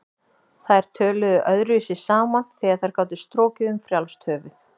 Þær töluðu öðruvísi saman þegar þær gátu strokið um frjálst höfuð.